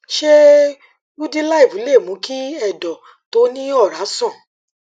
ṣé udiliv lè mú kí ẹdọ tó ní ọrá sàn